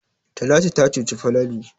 Talatu ta cuci Falalu.